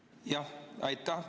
Jah, aitäh!